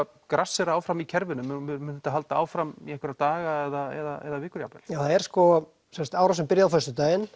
grassera áfram í kerfinu mun þetta halda áfram í einhverja daga eða vikur jafnvel já það er sko árásin byrjaði á föstudaginn